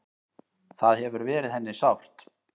Það hefur verið henni sárt.